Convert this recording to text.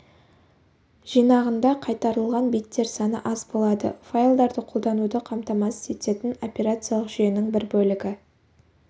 жинағында қайтарылған беттер саны аз болады файлдарды қолдануды қамтамасыз ететін операциялық жүйенің бір бөлігі